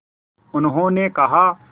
उन्होंने कहा